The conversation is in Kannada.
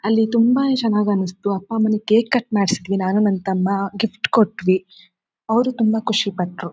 ಅಲ್ಲಿ ತುಂಬಾನೇ ಚನ್ನಾಗಿ ಅನ್ಸುತ್ತು ಅಪ್ಪ ಅಮ್ಮಾಗೆ ಕೇಕ್ ಕಟ್ ಮಾಡಸಿದ್ದೀವಿ ನಾನು ನನ್ನ ತಮ್ಮ ಗಿಫ್ಟ್ ಕೊಟ್ಟವಿ ಅವರು ತುಂಬಾ ಖುಷಿ ಪಟ್ಟರು.